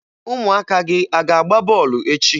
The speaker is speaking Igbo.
Ụmụaka gị a ga-agba bọọlụ echi?